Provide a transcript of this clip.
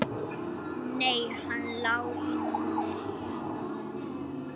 Nei, hann lá í netinu.